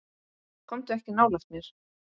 Komdu ekki nálægt mér.